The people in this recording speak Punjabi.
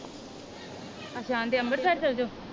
ਅੱਛਾ ਆਂਦੇ ਅੰਬਰਸਰ ਚਲਜੋ?